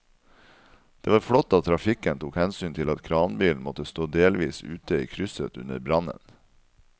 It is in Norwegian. Det var flott at trafikken tok hensyn til at kranbilen måtte stå delvis ute i krysset under brannen.